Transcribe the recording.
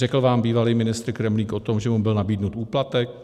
Řekl vám bývalý ministr Kremlík o tom, že mu byl nabídnut úplatek?